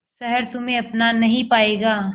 शहर तुम्हे अपना नहीं पाएगा